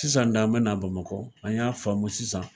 Sisan de an bɛ n'a bamakɔ an y'a faamu sisan